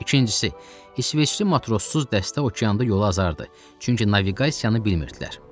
İkincisi, isveçli matrossuz dəstə okeanda yolu azardı, çünki naviqasiyanı bilmirdilər.